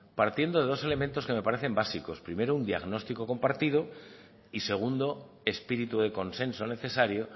partiendo de dos elementos que me parecen básicos primero un diagnóstico compartido y segundo espíritu de consenso necesario